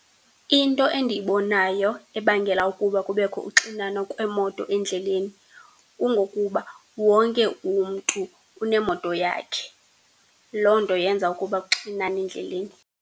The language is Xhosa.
Into endiyibonayo ebangela ukuba kubekho uxinano kwemoto endleleni kungokuba wonke umntu unemoto yakhe. Loo nto yenza ukuba kuxinane endleleni.